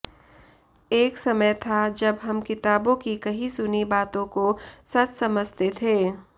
एक समय था जब हम किताबों की कही सुनी बातों को सच समझते थे